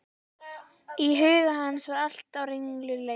Í huga hans var allt á ringulreið.